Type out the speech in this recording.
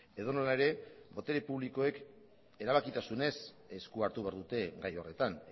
edonola ere botere publikoek erabakitasunez esku hartu behar dute gai horretan